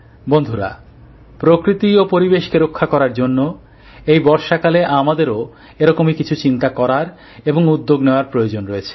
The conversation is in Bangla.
বন্ধুরা প্রকৃতি ও পরিবেশকে রক্ষা করার জন্য এই বর্ষাকালে আমাদেরও এরকমই কিছু চিন্তা করার এবং উদ্যোগ নেওয়ার প্রয়োজন রয়েছে